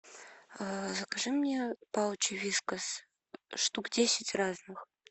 закажи мне паучи вискас штук десять разных